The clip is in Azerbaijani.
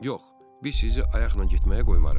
Yox, biz sizi ayaqla getməyə qoymarıq.